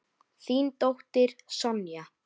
Þín dóttir, Sonja.